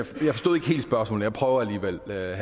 jeg prøver alligevel her jeg